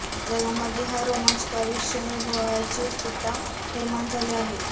जगामध्ये हा रोमांचकारी क्षण अनुभवण्याची उत्सुकता निर्माण झाली आहे